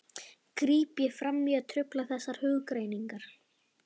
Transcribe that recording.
gríp ég fram í og trufla þessar hugrenningar.